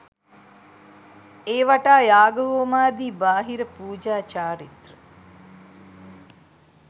ඒ වටා යාග හෝමාදි බාහිර පූජා චාරිත්‍ර